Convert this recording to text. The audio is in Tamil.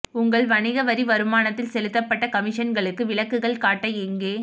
உங்கள் வணிக வரி வருமானத்தில் செலுத்தப்பட்ட கமிஷன்களுக்கு விலக்குகள் காட்ட எங்கே